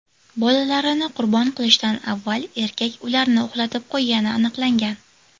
Bolalarini qurbon qilishdan avval erkak ularni uxlatib qo‘ygani aniqlangan.